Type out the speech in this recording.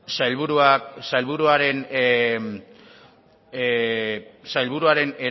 sailburuak eman